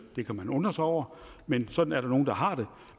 det kan man undre sig over men sådan er der nogle der har det